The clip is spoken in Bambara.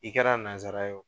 I kɛra nanzara ye o